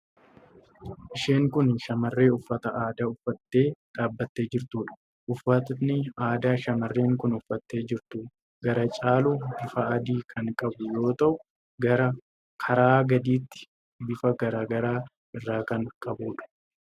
Isheen kun shamarree uffata aadaa uffattee dhaabbattee jirtuudha. Uffatni aadaa shamarreen kun uffattee jirtu gara caalu bifa adii kan qabu yoo ta'u, karaa gadiitiin bifa garaa garaa irraa kan qabuudha.